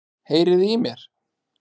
Heyriði í mér?